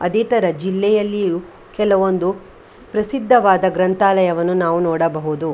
ಅದೇ ತರ ಜಿಲ್ಲೆಯಲ್ಲಿಯೂ ಕೆಲವೊಂದು ಪ್ರಸಿದ್ಧವಾದ ಗ್ರಂಥಾಲಯವನ್ನು ನಾವು ನೋಡಬಹುದು .